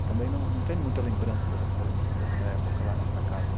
E também não tenho muita lembrança dessa, dessa época lá nessa casa.